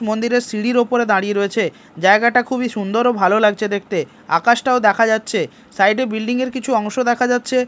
মন্দিরের সিঁড়ির ওপরে দাঁড়িয়ে রয়েছে জায়গাটা খুবই সুন্দর ও ভালো লাগছে দেখতে আকাশটাও দেখা যাচ্ছে সাইড -এ বিল্ডিং -এর কিছু অংশ দেখা যাচ্ছে।